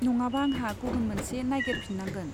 नङाबा आंहा गुबुन मोनसे नागेरफिन्नांगोन।